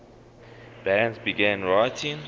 bands began writing